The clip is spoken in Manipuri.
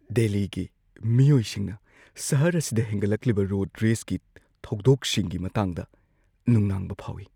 ꯗꯦꯜꯂꯤꯒꯤ ꯃꯤꯑꯣꯏꯁꯤꯡꯅ ꯁꯍꯔ ꯑꯁꯤꯗ ꯍꯦꯟꯒꯠꯂꯛꯂꯤꯕ ꯔꯣꯗ ꯔꯦꯖꯀꯤ ꯊꯧꯗꯣꯛꯁꯤꯡꯒꯤ ꯃꯇꯥꯡꯗ ꯅꯨꯡꯅꯥꯡꯕ ꯐꯥꯎꯏ꯫